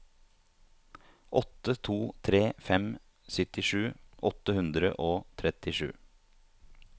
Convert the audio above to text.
åtte to tre fem syttisju åtte hundre og trettisju